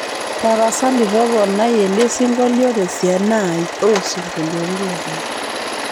tapasali toponai elesingolio tesiana ai oosingoliotin lanyor